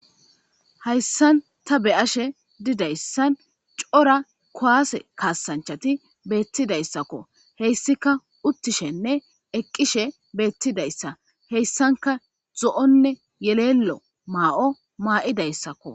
Hayisan ta be'ashe dizayis coora ku'ase kasanichti betizaysako haysika utishenee eqishe betizaysa hesanika zo'onee yelelo mayo mayidaysako